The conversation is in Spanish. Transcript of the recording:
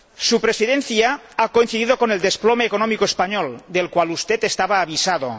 Su Presidencia ha coincidido con el desplome económico español, del cual usted estaba avisado.